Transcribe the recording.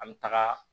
An bɛ taga